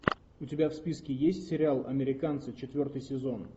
у тебя в списке есть сериал американцы четвертый сезон